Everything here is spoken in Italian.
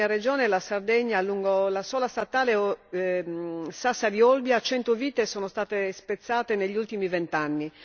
Nella mia regione, la Sardegna, lungo la sola statale Sassari Olbia 100 vite sono state spezzate negli ultimi vent'anni.